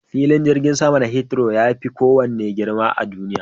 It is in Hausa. Filin jirgin sama na Hithrow yafi kowanne girma a duniya.